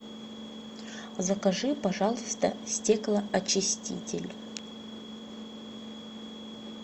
закажи пожалуйста стеклоочиститель